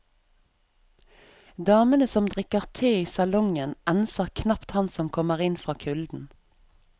Damene som drikker te i salongen enser knapt han som kommer inn fra kulden.